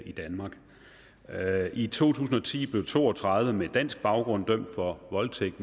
i danmark i to tusind og ti blev to og tredive med dansk baggrund dømt for voldtægt